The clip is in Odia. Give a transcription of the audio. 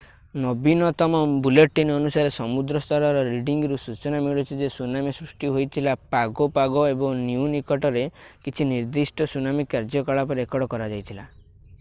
ନବୀନତମ ବୁଲେଟିନ୍ ଅନୁସାରେ ସମୁଦ୍ର ସ୍ତରର ରିଡିଂ ରୁ ସୂଚନା ମିଳୁଛି ଯେ ସୁନାମି ସୃଷ୍ଟି ହୋଇଥିଲା ପାଗୋ ପାଗୋ ଏବଂ ନିୟୁ ନିକଟରେ କିଛି ନିର୍ଦ୍ଦିଷ୍ଟ ସୁନାମି କାର୍ଯ୍ୟକଳାପ ରେକର୍ଡ କରାଯାଇଥିଲା